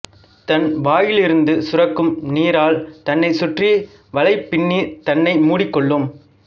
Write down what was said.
தன் வாயிலிருந்து சுரக்கும் நீரால் தன்னைச் சுற்றி வலை பின்னி தன்னை மூடிகொள்ளும்